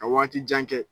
Ka waati jan kɛ